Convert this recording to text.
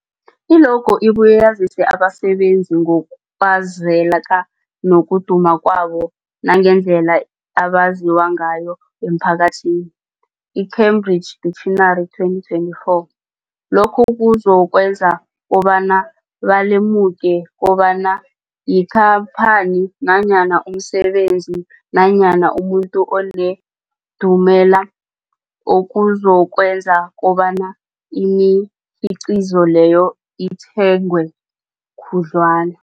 I-logo ibuye yazise abasebenzisi ngokwazeka nokuduma kwabo nangendlela abaziwa ngayo emphakathini, i-Cambridge Dictionary, 2024. Lokho kuzokwenza kobana balemuke kobana yikhamphani nanyana umsebenzi nanyana umuntu onendumela, okuzokwenza kobana imikhiqhizo leyo ithengwe khudlwana.